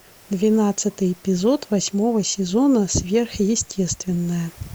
двенадцатый эпизод восьмого сезона сверхъестественное